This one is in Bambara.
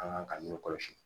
An kan k'an ɲɛ kɔlɔsi